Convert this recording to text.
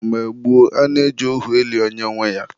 Mgbe gboo, a na-eji ohu eli onye nwe ya.